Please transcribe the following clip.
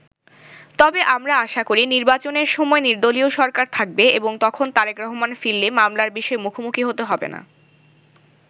তবে আমরা আশা করি, নির্বাচনের সময় নির্দলীয় সরকার থাকবে এবং তখন তারেক রহমান ফিরলে মামলার বিষয়ে মুখোমুখি হতে হবে না।